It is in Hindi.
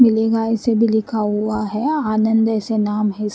मिलेगा ऐसे भी लिखा हुआ है आनंद ऐसे नाम है इस --